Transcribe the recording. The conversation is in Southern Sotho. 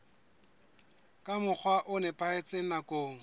ka mokgwa o nepahetseng nakong